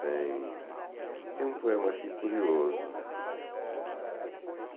Tem tem um poema aqui curioso.